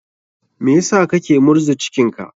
Me sa kake murza cikin ka?